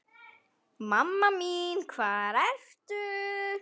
Mamma mín hvar ertu?